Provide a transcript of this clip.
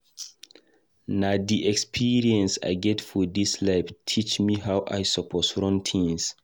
Na di experience I get for dis life teach me how I suppose run tins.